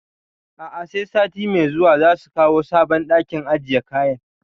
A'a, sai sati mai zuwa za su kawo sabon ɗakin ajiye kayan